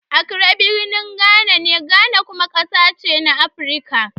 Accra birnin Ghana ne, Ghana kuma ƙasa ce na Afirka.